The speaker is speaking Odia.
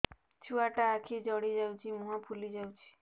ଛୁଆଟା ଆଖି ଜଡ଼ି ଯାଉଛି ମୁହଁ ଫୁଲି ଯାଉଛି